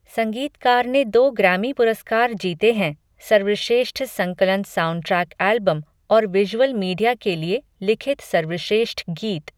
संगीतकार ने दो ग्रैमी पुरस्कार जीते हैं, सर्वश्रेष्ठ संकलन साउंडट्रैक एल्बम और विजुअल मीडिया के लिए लिखित सर्वश्रेष्ठ गीत।